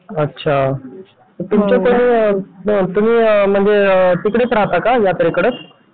अच्छा तुमच्याकडे तुम्ही म्हणजे तिकडेच राहता का यात्रेकडे?